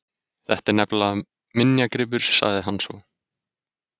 Þetta er nefnilega minjagripur sagði hann svo.